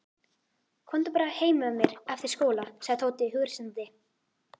Komdu bara heim með mér eftir skóla sagði Tóti hughreystandi.